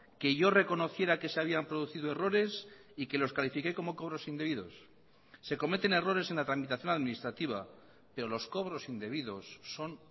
que yo reconociera que se habían producido errores y que los califiqué como cobros indebidos se cometen errores en la tramitación administrativa pero los cobros indebidos son